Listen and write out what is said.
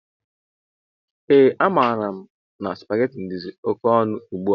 Ee a maara mụ na supaghetti dizi oké ọnụ ugbua.